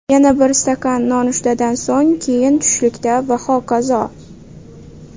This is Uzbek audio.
Yana bir stakan nonushtadan so‘ng, keyin tushlikda va hokazo.